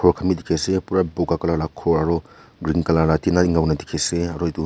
dikhai se pura boga colour lah ghor aru green colour lah dikhi se aru etu--